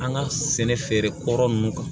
An ka sɛnɛ feere kɔrɔ nunnu kan